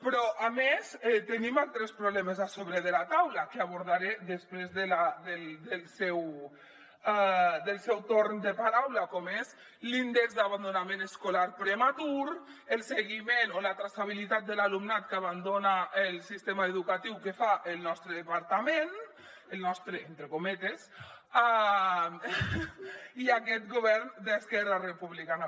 però a més tenim altres problemes a sobre de la taula que abordaré després del seu torn de paraula com són l’índex d’abandonament escolar prematur el seguiment o la traçabilitat de l’alumnat que abandona el sistema educatiu que fa el nostre departament el nostre entre cometes i aquest govern d’esquerra republicana